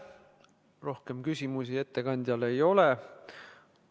Rohkem küsimusi ettekandjale ei ole.